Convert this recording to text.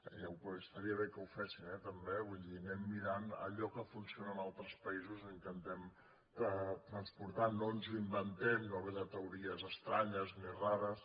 i estaria bé que ho fessin també vull dir anem mirant allò que funciona en al·tres països i ho intentem transportar no ens ho inven·tem no ve de teories estranyes ni rares